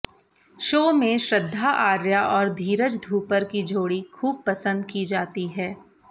show में श्रद्धा आर्या और धीरज धूपर की जोड़ी खूब पसंद की जाती है